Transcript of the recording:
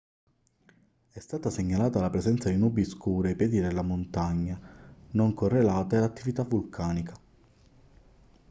è stata segnalata la presenza di nubi scure ai piedi della montagna non correlate ad attività vulcanica